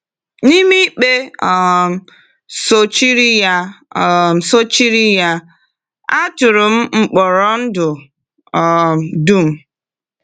N’ime ikpe um sochiri ya, um sochiri ya, a tụrụ m mkpọrọ ndụ um dum.